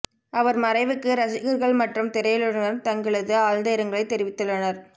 அவர் மறைவுக்கு ரசிகர்கள் மற்றும் திரையுலகினர் தங்களது ஆழ்ந்த இரங்கலை தெரிவித்துள்ளனர்